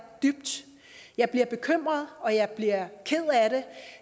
dybt jeg bliver bekymret og jeg bliver ked